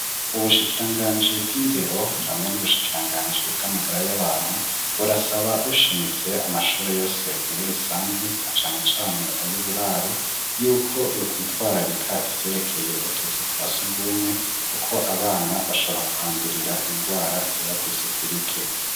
Ubushikiranganji bw'indero hamwe n'ubushikiranganji bw'amagara y'abantu burasaba bushimitse amashure yose muri rusangi na canecane ayo uburaro yuko yokwitwararika ivyerekeye utuzu twa sugumwe, kuko abana bashobora kuhandurira ingwara ziva kw'isuku rike.